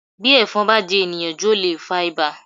Bí ẹ̀fọn bá jẹ́ èèyàn jù ó lè fa ibà